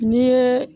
N'i ye